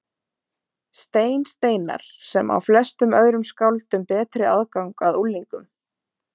Stein Steinarr, sem á flestum öðrum skáldum betri aðgang að unglingum.